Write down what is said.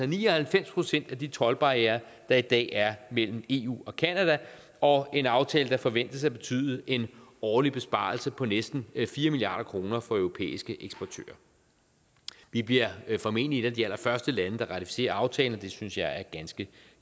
ni og halvfems procent af de toldbarrierer der i dag er mellem eu og canada og en aftale der forventes at betyde en årlig besparelse på næsten fire milliard kroner for europæiske eksportører vi bliver formentlig et af de allerførste lande der ratificerer aftalen og det synes jeg er ganske